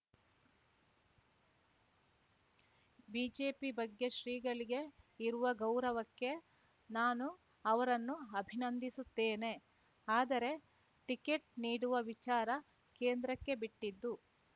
BJP ಬಗ್ಗೆ ಶ್ರೀಗಳಿಗೆ ಇರುವ ಗೌರವಕ್ಕೆ ನಾನು ಅವರನ್ನು ಅಭಿನಂದಿಸುತ್ತೇನೆ ಆದರೆ ಟಿಕೆಟ್‌ ನೀಡುವ ವಿಚಾರ ಕೇಂದ್ರಕ್ಕೆ ಬಿಟ್ಟಿದ್ದು